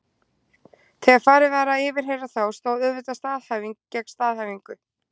Þegar farið var að yfirheyra þá stóð auðvitað staðhæfing gegn staðhæfingu.